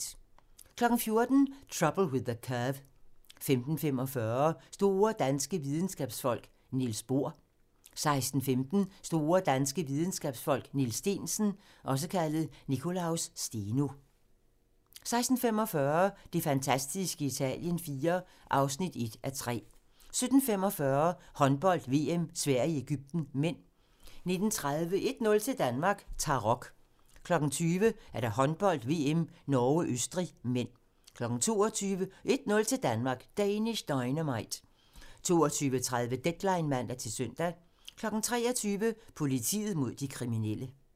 14:00: Trouble with the Curve 15:45: Store danske Videnskabsfolk: Niels Bohr 16:15: Store danske videnskabsfolk: Niels Steensen (Nicolaus Steno) 16:45: Det fantastiske Italien IV (1:3) 17:45: Håndbold: VM - Sverige-Egypten (m) 19:30: 1-0 til Danmark: Tarok 20:00: Håndbold: VM - Norge-Østrig (m) 22:00: 1-0 til Danmark: Danish Dynamite 22:30: Deadline (man-søn) 23:00: Politiet mod de kriminelle